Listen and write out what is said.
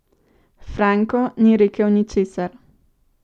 Franko ni rekel ničesar.